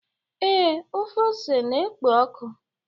ee, ofe ose na-ekpo ọkụ?